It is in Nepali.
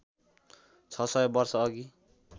६ सय वर्षअघि